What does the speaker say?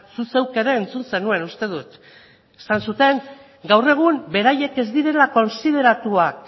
zuk zeuk ere entzun zenuen uste dut esan zuten gaur egun beraiek